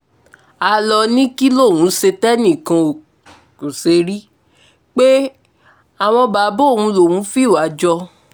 a ló ní kí lòun ṣe tẹ́nìkan kó ṣe rí pé àwọn bàbá òun lòún fìwà jọ